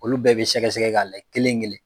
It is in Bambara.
Olu bɛɛ bɛ sɛgɛsɛgɛ ka lajɛ kelen kelen.